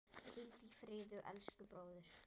Hvíldu í friði, elsku bróðir.